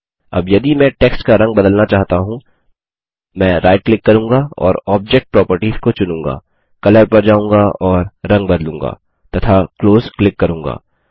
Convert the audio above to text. अब यदि मैं टेक्स्ट का रंग बदलना चाहता हूँ मैं राइट क्लिक करूँगा और ऑब्जेक्ट प्रोपर्टिस को चुनूँगा कलर पर जाऊँगा और रंग बदलूँगा तथा क्लोज क्लिक करूँगा